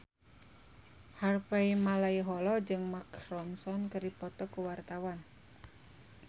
Harvey Malaiholo jeung Mark Ronson keur dipoto ku wartawan